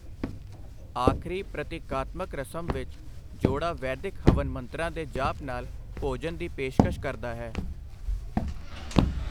ਆਖਰੀ ਪ੍ਰਤੀਕਾਤਮਕ ਰਸਮ ਵਿੱਚ, ਜੋੜਾ ਵੈਦਿਕ ਹਵਨ ਮੰਤਰਾਂ ਦੇ ਜਾਪ ਨਾਲ ਭੋਜਨ ਦੀ ਪੇਸ਼ਕਸ਼ ਕਰਦਾ ਹੈ।